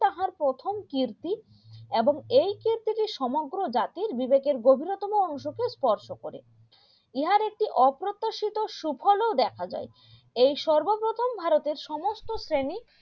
তাহার প্রথম কীর্তি এবং এই কীর্তি টি সমগ্র জাতির বিবেকের গভীরতম অংশকে স্পর্শ করে ইহার একটি অপ্রত্যাশিত সুফল ও দেখা যায় এই সর্বপ্রথম ভারতের সমস্ত শ্রেণী